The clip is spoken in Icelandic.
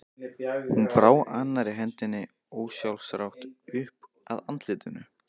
Hún brá annarri hendinni ósjálfrátt upp að andlitinu.